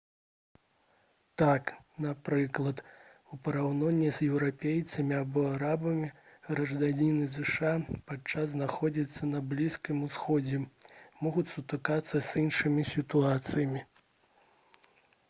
так напрыклад у параўнанні з еўрапейцамі або арабамі грамадзяне зша падчас знаходжання на блізкім усходзе могуць сутыкнуцца з іншымі сітуацыямі